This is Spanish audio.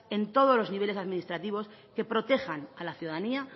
en todos los niveles administrativos que protejan a la ciudadanía